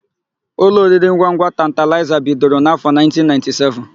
Ụlọ oriringwangwa Tantalaịza bidoro n'áfọ̀ 1997.